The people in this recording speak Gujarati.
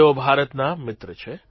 તેઓ ભારતના મિત્ર છે